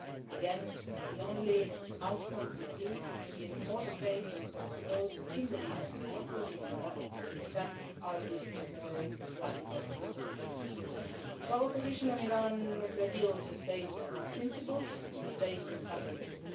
open. Again, the only outcome would be to give more space to those in the region, including in Iran, that argue for more radical positions. Our position on the Iran nuclear deal is based on our principles and it is based on pragmatism.